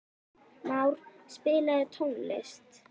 Már, spilaðu tónlist.